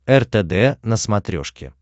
ртд на смотрешке